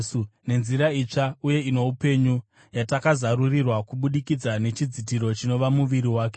nenzira itsva uye ino upenyu yatakazarurirwa kubudikidza nechidzitiro chinova muviri wake,